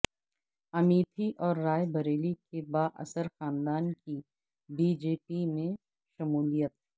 امیتھی اور رائے بریلی کے بااثر خاندان کی بی جے پی میں شمولیت